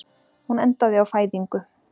Hún endaði á fæðingu.